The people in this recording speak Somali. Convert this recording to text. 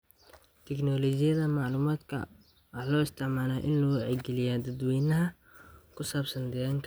Tignoolajiyada macluumaadka waxaa loo isticmaalaa in lagu wacyigeliyo dadweynaha ku saabsan deegaanka.